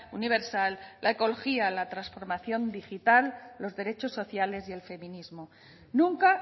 universal la ecología la transformación digital los derechos sociales y el feminismo nunca